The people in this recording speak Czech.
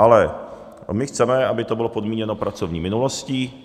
Ale my chceme, aby to bylo podmíněno pracovní minulostí.